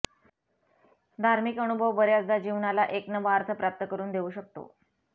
धार्मिक अनुभव बर्याचदा जीवनाला एक नवा अर्थ प्राप्त करून देऊ शकतो